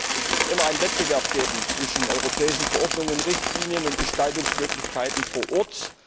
Es wird immer einen Wettbewerb geben zwischen europäischen Verordnungen und Richtlinien und Gestaltungsmöglichkeiten vor Ort.